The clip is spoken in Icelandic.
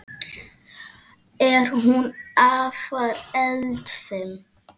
Er hún afar eldfim?